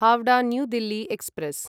Howrah new Delhi express